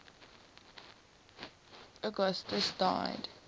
ii augustus died